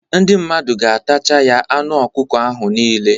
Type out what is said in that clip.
Ndị mmadụ ga-atacha ya anụ ọkụkọ ahụ nile